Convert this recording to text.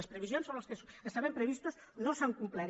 les previsions sobre les quals estaven previstos no s’han complert